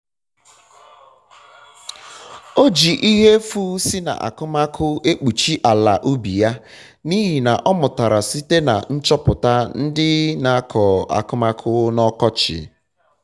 o ji ihe efu si na akụmakụ ekpuchi ala ubi ya n'ịhị ihe ọmụtara site na nchọpụta ndị na akọ akụmakụ na ọkọchị ọkọchị